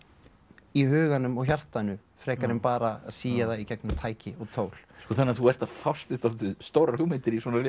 í huganum og hjartanu frekar en bara að sía það í gegnum tæki og tól sko þannig að þú ert að fást við dálítið stórar hugmyndir í